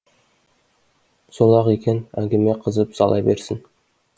сол ақ екен әңгіме қызып сала берсін